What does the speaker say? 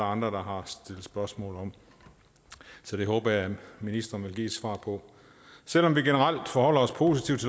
andre der har stillet spørgsmål om så det håber jeg ministeren vil give et svar på selv om vi generelt forholder os positivt